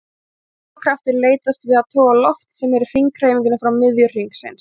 Miðflóttakraftur leitast við að toga loft sem er í hringhreyfingu frá miðju hringsins.